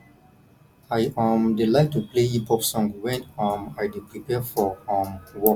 i um dey like to play hip hop song wen um i dey prepare for um work